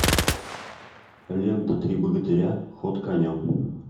лента три богатыря ход конем